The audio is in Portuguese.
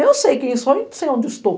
Eu sei quem sou e sei onde estou.